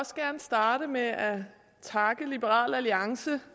også gerne starte med at takke liberal alliance